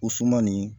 O suman nin